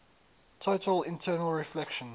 total internal reflection